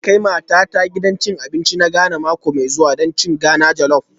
Zan kai matata gidan cin abinci na Ghana mako mai zuwa don cin Ghana jollop